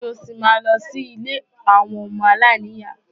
Ṣé o ṣì máa lọ sí ilé àwọn ọmọ aláìní ìyá?